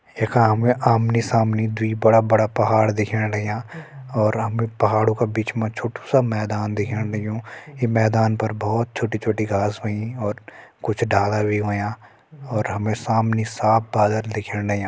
यखा हमि आमने सामने दुई बड़ा बड़ा पहाड़ दिखेण लग्यां और हमि पहाड़ों का बिच मा छोटु सा मैदान दिखेण लग्युं ई मैदान पर बहोत छोटि छोटि घास होईं और कुछ डाला भी होयां और हमे सामने साफ़ बादल दिखेण लग्यां।